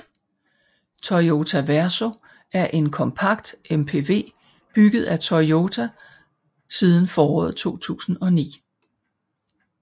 Toyota Verso er en kompakt MPV bygget af Toyota siden foråret 2009